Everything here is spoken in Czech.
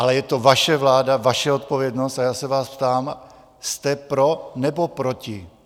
Ale je to vaše vláda, vaše odpovědnost a já se vás ptám, jste pro, nebo proti?